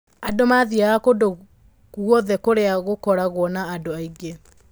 Andũ maathiaga kũndũ guothe kũrĩa gũkoragwo na andũ aingĩ.'